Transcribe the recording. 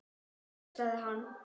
Hóstaði hann?